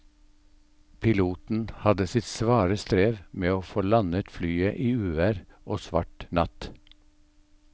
Piloten hadde sitt svare strev med å få landet flyet i uvær og svart natt.